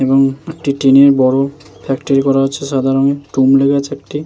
এবং একটি ট্রেন -এর বড় ফ্যাক্টরি করা হচ্ছে। সাদা রঙের ডুম লেগেছে একটি।